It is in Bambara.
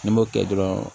Ni n m'o kɛ dɔrɔn